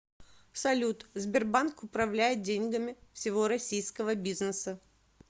салют сбербанк управляет деньгами всего российского бизнеса